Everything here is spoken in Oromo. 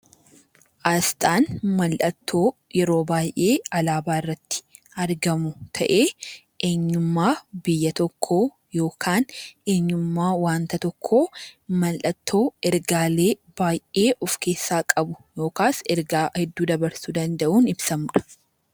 Aasxaan mallattoo yeroo baay'ee alaabaa irratti argamu ta'ee eenyummaa biyya tokkoo yookaan wanta tokkoo mallattoo ergaalee baay'ee of keessaa qabu yookaan ergaa hedduu dabarsuu danda’uun ibsamudha.